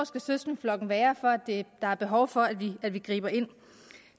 søskendeflokken skal være for at der er behov for at vi griber ind